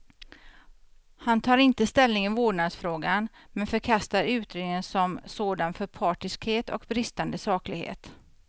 Han tar inte ställning i vårdnadsfrågan, men förkastar utredningen som sådan för partiskhet och bristande saklighet.